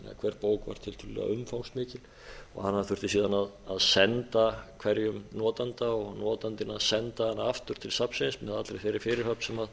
hver bók var tiltölulega umfangsmikil og hana þurfti síðan að senda hverjum notanda og notandinn að senda hana aftur til safnsins með allri þeirri fyrirhöfn sem